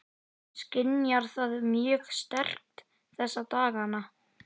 Skynjar það mjög sterkt þessa dagana?